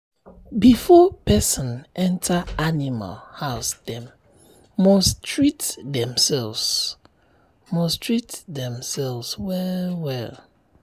before person enter animal housedem must treat themselves must treat themselves well well." um